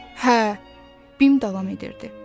Hə, Bim davam edirdi.